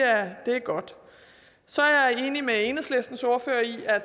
er godt så er jeg med enhedslistens ordfører i at